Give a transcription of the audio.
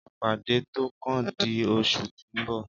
ìpàdé tó kàn di oṣù tí o nbọ